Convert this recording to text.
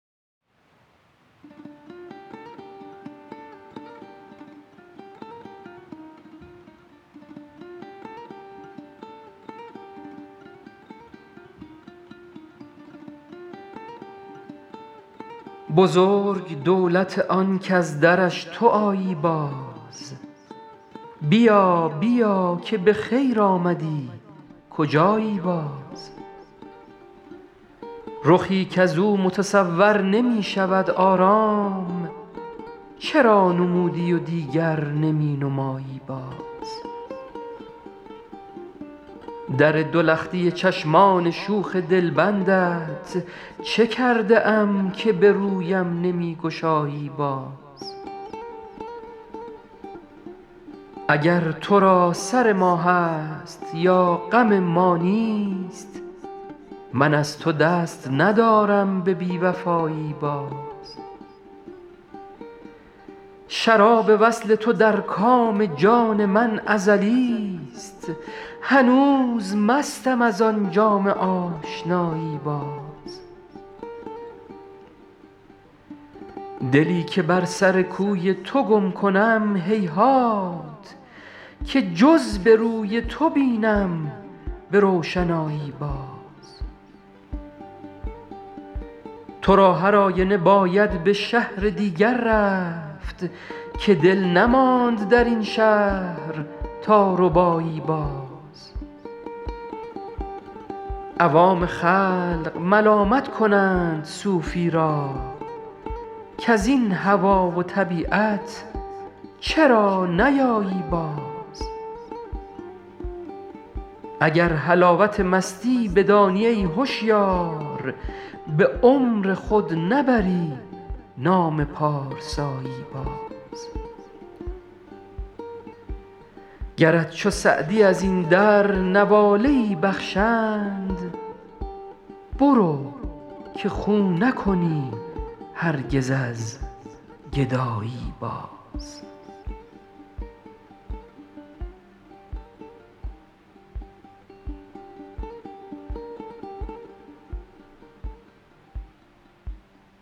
بزرگ دولت آن کز درش تو آیی باز بیا بیا که به خیر آمدی کجایی باز رخی کز او متصور نمی شود آرام چرا نمودی و دیگر نمی نمایی باز در دو لختی چشمان شوخ دلبندت چه کرده ام که به رویم نمی گشایی باز اگر تو را سر ما هست یا غم ما نیست من از تو دست ندارم به بی وفایی باز شراب وصل تو در کام جان من ازلیست هنوز مستم از آن جام آشنایی باز دلی که بر سر کوی تو گم کنم هیهات که جز به روی تو بینم به روشنایی باز تو را هر آینه باید به شهر دیگر رفت که دل نماند در این شهر تا ربایی باز عوام خلق ملامت کنند صوفی را کز این هوا و طبیعت چرا نیایی باز اگر حلاوت مستی بدانی ای هشیار به عمر خود نبری نام پارسایی باز گرت چو سعدی از این در نواله ای بخشند برو که خو نکنی هرگز از گدایی باز